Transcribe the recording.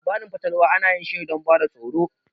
Labarin fatalwa ana yin shine do ba da tsoro